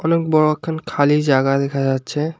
অনেক বড়ো একখান খালি জাগা দেখা যাচ্ছে।